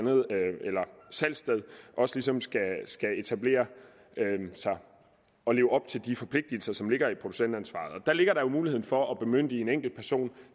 salgssted også ligesom skal etablere sig og leve op til de forpligtelser som ligger i producentansvaret og der ligger der jo muligheden for at bemyndige en enkeltperson